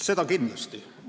Seda kindlasti.